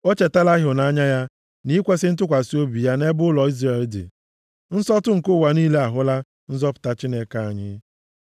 O chetala ịhụnanya ya na ikwesi ntụkwasị obi ya nʼebe ụlọ Izrel dị; nsọtụ nke ụwa niile ahụla nzọpụta Chineke anyị.